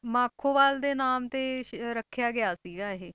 ਮਾਖੋਵਾਲ ਦੇ ਨਾਮ ਤੇ ਸ~ ਰੱਖਿਆ ਗਿਆ ਸੀਗਾ ਇਹ।